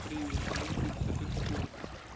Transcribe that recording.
привет мувикс это что